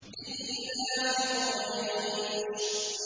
لِإِيلَافِ قُرَيْشٍ